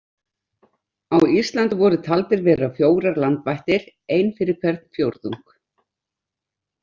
Á Íslandi voru taldir vera fjórar landvættir, ein fyrir hvern fjórðung.